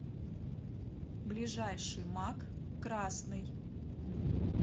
ближайший мак красный